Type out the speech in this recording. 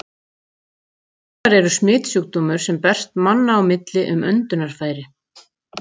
Berklar eru smitsjúkdómur, sem berst manna á milli um öndunarfæri.